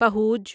پہوج